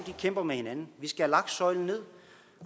kæmper mod hinanden vi skal have lagt søjlen ned